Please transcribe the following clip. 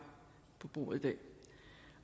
på bordet i dag